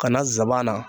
Ka na nsaban na